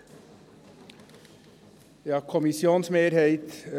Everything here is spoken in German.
Kommissionpräsident der GSoK.